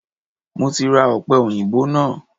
Mo ti ra ọ̀pẹòyìnbó náà